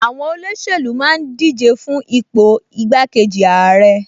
Àwọn olóṣèlú máa ń díje fún ipò igbákejì ààrẹ